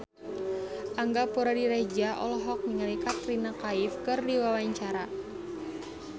Angga Puradiredja olohok ningali Katrina Kaif keur diwawancara